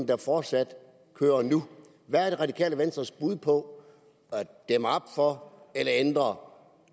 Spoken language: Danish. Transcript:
der fortsat kører nu hvad er det radikale venstres bud på at dæmme op for eller ændre